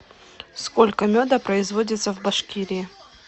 сколько меда производится в башкирии